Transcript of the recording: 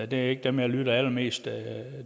det er ikke dem jeg lytter allermest